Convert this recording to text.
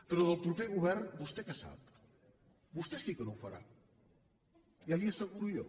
però del proper govern vostè què sap vostè sí que no ho farà ja li ho asseguro jo